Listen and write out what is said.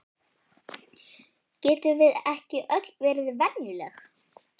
Getum við ekki öll verið venjuleg?